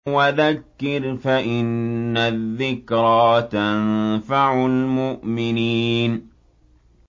وَذَكِّرْ فَإِنَّ الذِّكْرَىٰ تَنفَعُ الْمُؤْمِنِينَ